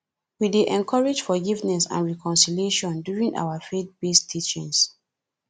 we dey encourage forgiveness and reconciliation during our faithbased teachings